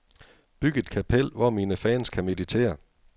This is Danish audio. Byg et kapel, hvor mine fans kan meditere.